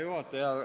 Hea juhataja!